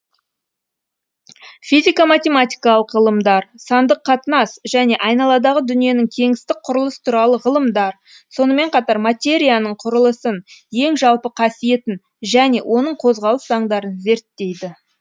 физика математикалық ғылымдар сандық қатынас және айналадағы дүниенің кеңістік құрылыс туралы ғылымдар сонымен қатар материяның құрылысын ең жалпы қасиетін және оның қозғалыс заңдарын зерттейді